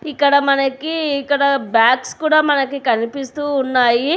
ఇక్కడ మనకి ఇక్కడ బ్యాగ్స్ కూడా మనకి కనిపిస్తూ ఉన్నాయి.